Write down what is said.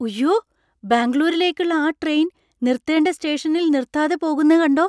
ഉയ്യോ, ബാംഗ്ലൂരിലേക്കുള്ള ആ ട്രെയിൻ നിർത്തേണ്ട സ്റ്റേഷനിൽ നിർത്താതെ പോകുന്നേ കണ്ടോ!